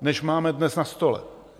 než máme dnes na stole.